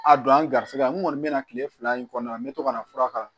A don an ga garisɛgɛ nɔni bɛna kile fila in kɔnɔ yan n bɛ to kana fura k'a kan